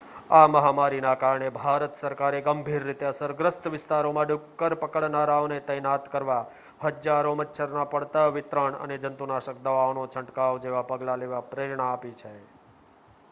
આ મહામારીના કારણે ભારત સરકારે ગંભીર રીતે અસરગ્રસ્ત વિસ્તારોમાં ડુક્કર પકડનારાઓને તૈનાત કરવા હજારો મચ્છરના પડદા વિતરણ અને જંતુનાશક દવાઓનો છંટકાવ જેવા પગલાં લેવા પ્રેરણા આપી છે